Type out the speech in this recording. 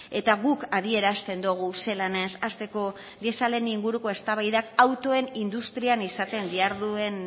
eta guk adierazten dogu ze lanez hasteko dieselaren inguruko eztabaidak autoen industrian izaten diharduen